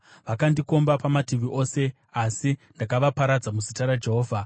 Vakandikomba pamativi ose, asi ndakavaparadza muzita raJehovha.